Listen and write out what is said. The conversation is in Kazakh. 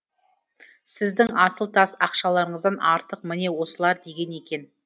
сіздің асыл тас ақшаларыңыздан артық міне осылар деген екен